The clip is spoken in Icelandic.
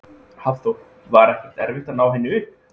Hafþór: Var ekkert erfitt að ná henni upp?